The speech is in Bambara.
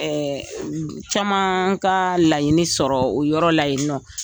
caman ka laɲini sɔrɔ o yɔrɔ la yeni nɔ.